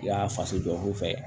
I y'a faso jɔ u fɛ